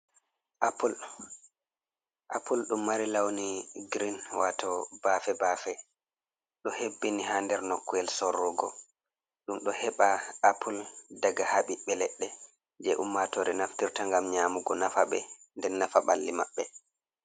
Apul, apul ɗum mari lawni giriin wato bafe- bafe, ɗo hebbini ha nder nokkuwel sorrugo, ɗum ɗo heɓa apul daga ha ɓiɓbe leɗɗe je ummatore naftirta ngam nyaamugo nafaɓe nden nafa ɓalli maɓɓe.